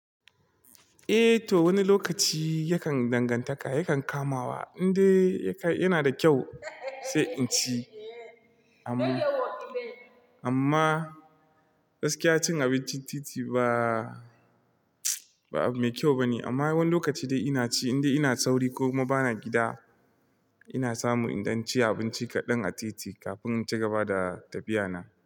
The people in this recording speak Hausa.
Eh to wani lokaci yakan dangantaka yakan kamawa indai yana da kyau sai in ci amma, amma gaskiya cin abinci titi ba, ba mai kyau bane amma wani lokaci dai ina ci indai ina sauri ko ma bana gida ina samu idan ci abinci kaɗan a titi kafin in cigaba da tafiya na.